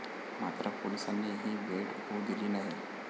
मात्र पोलिसांनी ही भेट होऊ दिली नाही.